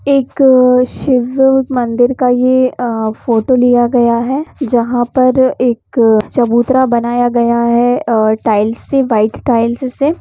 एक शिव मंदिर का ये अ फोटो लिया आया है जहां पर एक चबूतरा बनाया गया है और टाइल्स से व्हाइट टाइल्स से।